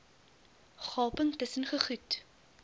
gaping tusen gegoed